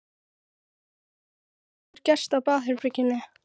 En ég veit ekki hvað hefur gerst á baðherberginu.